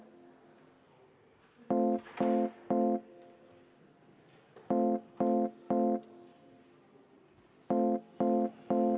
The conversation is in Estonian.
Vaheaeg kümme minutit.